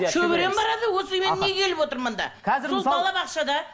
шөберем барады осы мен неге келіп отырмын мында сол балабақшада